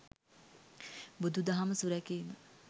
බුදු දහම සුරැකීම